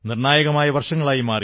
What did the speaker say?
നിർണ്ണായകമായ വർഷങ്ങളായി